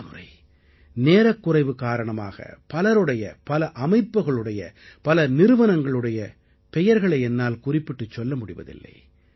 பலமுறை நேரக்குறைவு காரணமாக பலருடைய பல அமைப்புகளுடைய பல நிறுவனங்களுடைய பெயர்களை என்னால் குறிப்பிட்டுச் சொல்ல முடிவதில்லை